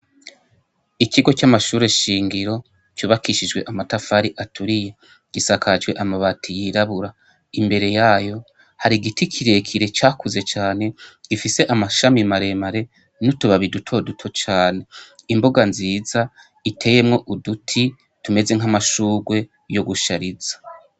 Ikigo c'amashure shingiro cubakishijwe amatafari aturiye gisakajwe amabati yirabura imbere yayo hari igiti kirekire cakuze cane gifise amashami maremare n'utubabi duto duto cane, imbuga nziza iteyemwo uduti tumeze nk'amashurwe yo gushariza.